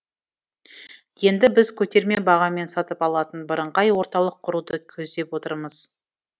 енді біз көтерме бағамен сатып алатын бірыңғай орталық құруды көздеп отырмыз